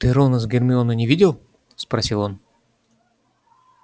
ты рона с гермионой не видел спросил он